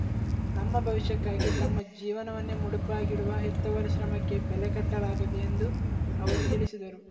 ನಮ್ಮ ಭವಿಷ್ಯಕ್ಕಾಗಿ ತಮ್ಮ ಜೀವನವನ್ನೇ ಮುಡುಪಾಗಿಡುವ ಹೆತ್ತವರ ಶ್ರಮಕ್ಕೆ ಬೆಲೆ ಕಟ್ಟಲಾಗದು ಎಂದು ಅವರು ತಿಳಿಸಿದರು